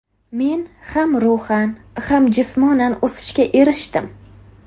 Men ham ruhan ham jismonan o‘sishga erishdim.